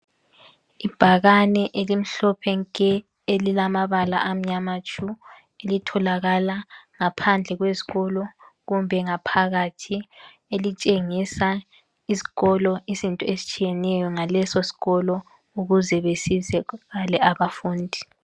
Ibhakane elimhlophe nke elilamabala amnyama tshu litholakala ngaphandle kwesikolo kumbe ngaphakathi elitshengisa isikolo izinto ezitshiyeneyo ngaleso sikolo ukuze besizakale abafundi